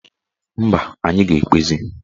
Mba, anyị ga-ekpezi